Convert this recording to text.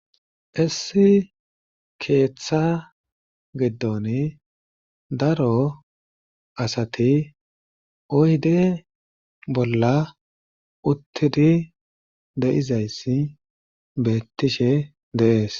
Issi keeththa giddon daro asati oyde bolla uttidi de'izayssi beetishe de'ees.